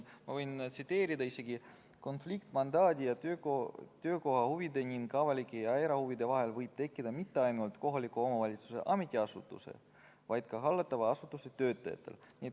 Ma võin tsiteerida: "Konflikt mandaadi ja töökoha huvide ning avalike ja erahuvide vahel võib tekkida mitte ainult kohaliku omavalitsuse ametiasutuse, vaid ka hallatava asutuse töötajatel.